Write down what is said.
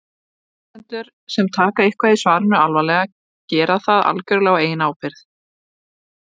Lesendur sem taka eitthvað í svarinu alvarlega gera það algjörlega á eigin ábyrgð.